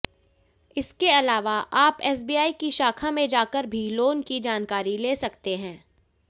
इसके अलावा आप एसबीआई की शाखा में जाकर भी लोन की जानकारी ले सकते हैं